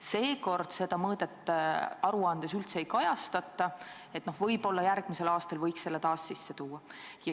Seekord seda mõõdet aruandes üldse ei kajastata, võib-olla järgmisel aastal võiks selle taas sisse tuua.